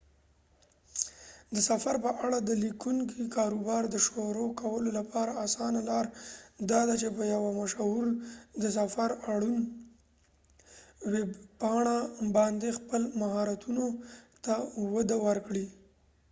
د سفر په اړه د لیکنې کاروبار د شروع کولو لپاره آسانه لار داده چې په یو مشهور د سفر اړوند ویبپاڼه باندې خپل مهارتونو ته وده ورکړې